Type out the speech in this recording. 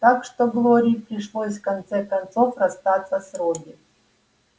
так что глории пришлось в конце концов расстаться с робби